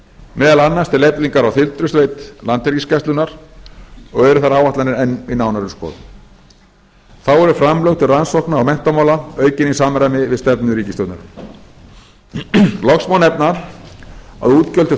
meðal annars til eflingar á þyrlusveit landhelgisgæslunnar og eru þær áætlanir enn í nánari skoðun þá eru framlög til rannsókna og menntamála aukin í samræmi við stefnu ríkisstjórnarinnar loks má nefna að útgjöld til